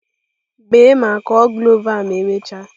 Bee ma kụọ cloves a ma emechaa!